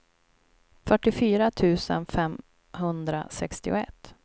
fyrtiofyra tusen femhundrasextioett